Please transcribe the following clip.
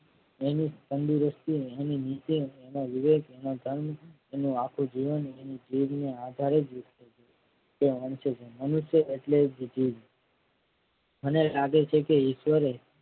એની તંદુરસ્તી એની નીચે એમાં વિવેક એના તન એનું આખું જીવન એની જીભને આધારે જ તે વાંચ છે જીવન. મનુષ્ય એટલે જ જીભ મને લાગે છે કે ઈશ્વરે